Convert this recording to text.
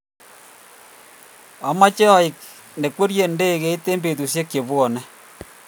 Amache aek ne kwerie ndegit eng betushek che buani